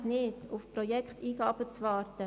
Es reicht nicht, auf Projekteingaben zu warten.